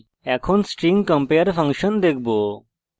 এখন আমরা string compare compare function দেখবো